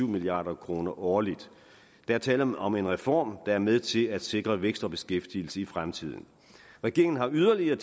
milliard kroner årligt der er tale om om en reform der er med til at sikre vækst og beskæftigelse i fremtiden regeringen har yderligere